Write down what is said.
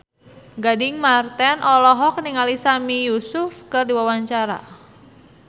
Gading Marten olohok ningali Sami Yusuf keur diwawancara